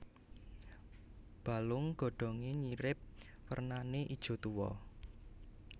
Balung godhonge nyirip warnane ijo tuwa